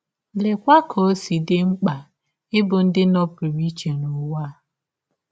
Leekwa ka ọ si dị mkpa ịbụ ndị nọpụrụ iche n’ụwa a!